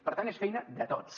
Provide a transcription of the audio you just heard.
per tant és feina de tots